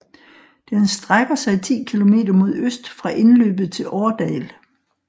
Den strækker sig 10 kilometer mod øst fra indløbet til Årdal